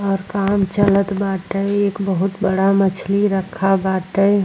और काम चलत बाटे। एक बहुत बड़ा मछली रखा बाटे।